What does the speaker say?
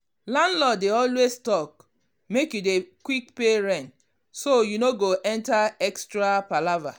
landlord dey always talk make you dey quick pay rent so you no go enter extra palava.